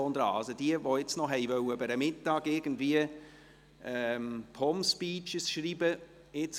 Also diejenigen, die jetzt noch über den Mittag POM-Speeches schreiben wollten: